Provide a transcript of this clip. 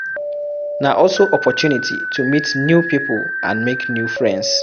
Na also opportunity to meet new pipo and make new friends